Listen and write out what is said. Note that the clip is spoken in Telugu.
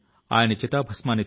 సుఖదాం వరదాం మాతరమ్